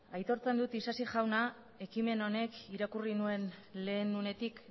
aitortzen dut isasi jauna ekimen honek irakurri nuen lehen unetik